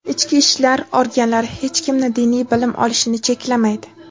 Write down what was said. Ichki ishlar organlari hech kimni diniy bilim olishini cheklamaydi.